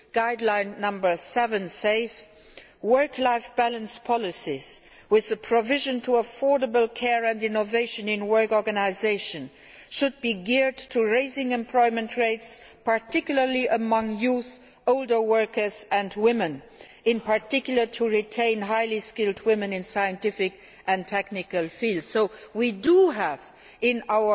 Guideline 7 states Work life balance policies with the provision of affordable care and innovation in work organisation should be geared to raising employment rates, particularly among youth, older workers and women, in particular to retain highly skilled women in scientific and technical fields'. As you see, we have included